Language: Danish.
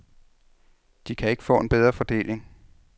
De kan ikke få en bedre fordeling.